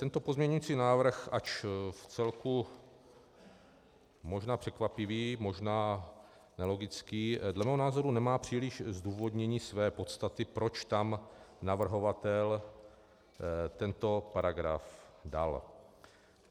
Tento pozměňující návrh, ač v celku možná překvapivý, možná nelogický, dle mého názoru nemá příliš zdůvodnění své podstaty, proč tam navrhovatel tento paragraf dal.